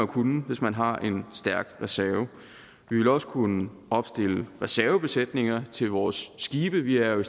kunne hvis man har en stærk reserve vi vil også kunne opstille reservebesætninger til vores skibe vi er jo